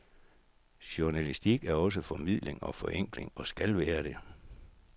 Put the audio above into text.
Journalistik er også formidling og forenkling, og skal være det.